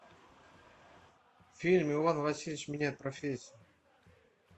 фильм иван васильевич меняет профессию